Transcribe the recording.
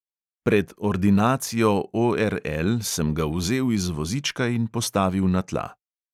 Pred ordinacijo ORL sem ga vzel iz vozička in postavil na tla.